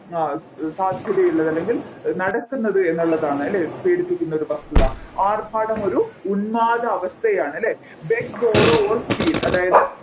ആഹ് സാധ്യതയുള്ളത് അല്ലെങ്കിൽ നടക്കുന്നത് എന്നുള്ളതാണ് അല്ലെ പേടിപ്പിക്കുന്ന ഒരു പ്രസ്തുത ആർഭാടം ഒരു ഉന്മാദ അവസ്ഥയാണ് അല്ലെ beg borrow or steal അതായത്